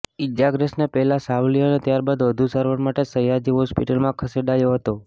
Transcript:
ઈજાગ્રસ્તને પહેલાં સાવલી અને ત્યારબાદ વધુ સારવાર માટે સયાજી હોસ્પિટલમાં ખસેડાયો હતો